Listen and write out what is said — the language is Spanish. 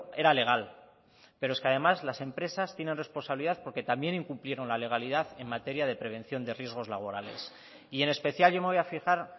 era legal pero es que además las empresas tienen responsabilidad porque también incumplieron la legalidad en materia de prevención de riesgos laborales y en especial yo me voy a fijar